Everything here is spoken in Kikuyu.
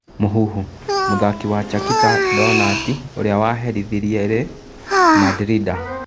Mũhuhu: Mũthaki wa Chakita Ndonati ũrĩa waherithirie Ri Mandrinda